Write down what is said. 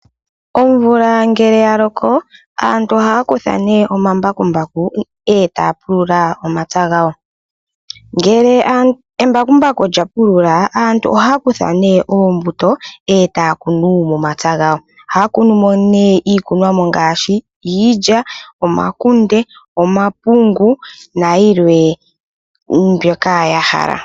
Omvula ngele yaloko aantu ohaakutha omambakumbaku etaapulula omapya ngawo, ngele omambakumbaku nga pulula aantu ohaakutha oombuto etaakunu momapya ngawo. Ohaakunu iikunomwa ngaashi iilya, omakunde, omapungu nayimwe ndjoka yahala.